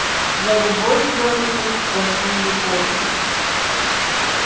за любовь белый клык платил любовью